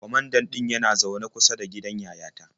Kwamandan ɗin yana zaune kusa da gidan yayata.